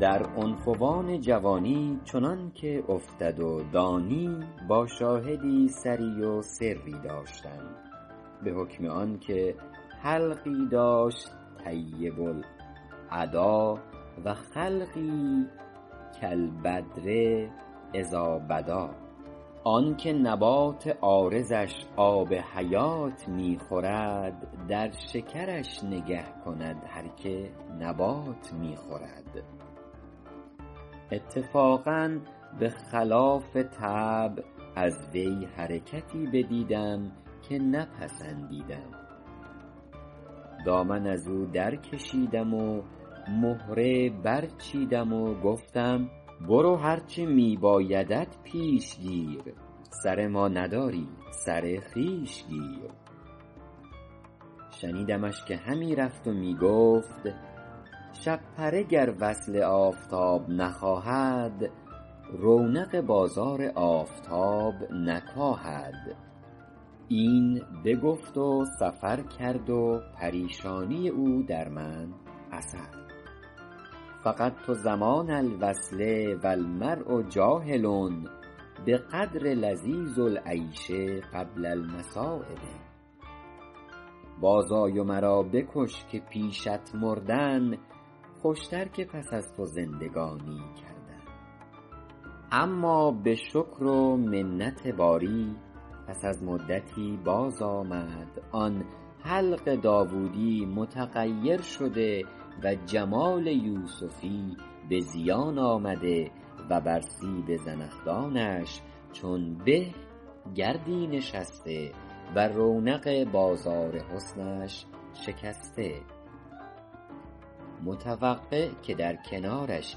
در عنفوان جوانی چنان که افتد و دانی با شاهدی سری و سری داشتم به حکم آن که حلقی داشت طیب الادا و خلقی کالبدر إذٰا بدٰا آن که نبات عارضش آب حیات می خورد در شکرش نگه کند هر که نبات می خورد اتفاقا به خلاف طبع از وی حرکتی بدیدم که نپسندیدم دامن از او در کشیدم و مهره برچیدم و گفتم برو هر چه می بایدت پیش گیر سر ما نداری سر خویش گیر شنیدمش که همی رفت و می گفت شپره گر وصل آفتاب نخواهد رونق بازار آفتاب نکاهد این بگفت و سفر کرد و پریشانی او در من اثر فقدت زمان الوصل و المرء جاهل بقدر لذیذ العیش قبل المصٰایب باز آی و مرا بکش که پیشت مردن خوشتر که پس از تو زندگانی کردن اما به شکر و منت باری پس از مدتی باز آمد آن حلق داوودی متغیر شده و جمال یوسفی به زیان آمده و بر سیب زنخدانش چون به گردی نشسته و رونق بازار حسنش شکسته متوقع که در کنارش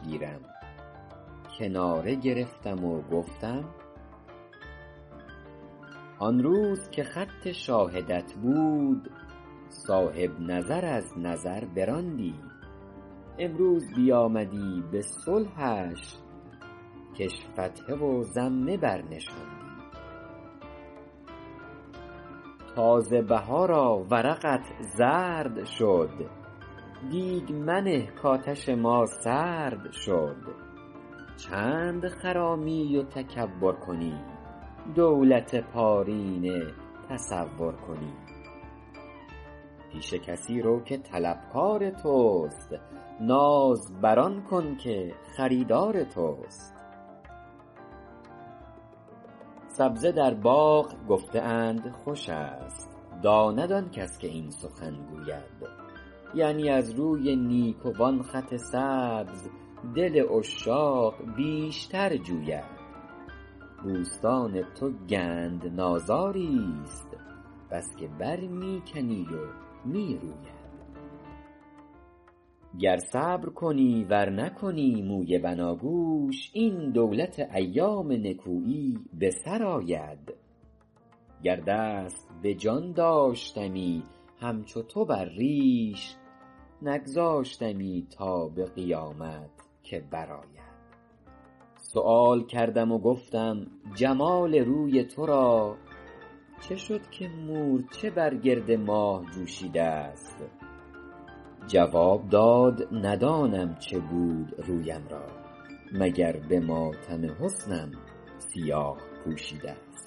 گیرم کناره گرفتم و گفتم آن روز که خط شاهدت بود صاحب نظر از نظر براندی امروز بیامدی به صلحش کش فتحه و ضمه بر نشاندی تازه بهارا ورقت زرد شد دیگ منه کآتش ما سرد شد چند خرامی و تکبر کنی دولت پارینه تصور کنی پیش کسی رو که طلبکار توست ناز بر آن کن که خریدار توست سبزه در باغ گفته اند خوش است داند آن کس که این سخن گوید یعنی از روی نیکوان خط سبز دل عشاق بیشتر جوید بوستان تو گندنازاری ست بس که بر می کنی و می روید گر صبر کنی ور نکنی موی بناگوش این دولت ایام نکویی به سر آید گر دست به جان داشتمی همچو تو بر ریش نگذاشتمی تا به قیامت که بر آید سؤال کردم و گفتم جمال روی تو را چه شد که مورچه بر گرد ماه جوشیده ست جواب داد ندانم چه بود رویم را مگر به ماتم حسنم سیاه پوشیده ست